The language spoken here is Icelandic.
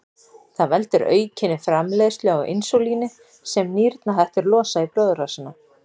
Það veldur aukinni framleiðslu á insúlíni sem nýrnahettur losa í blóðrásina.